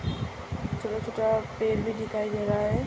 पेड़ भी दिखाई दे रहा है।